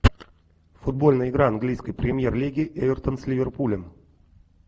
футбольная игра английской премьер лиги эвертон с ливерпулем